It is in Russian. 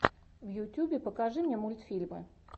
в ютюбе покажи мне мультфильмы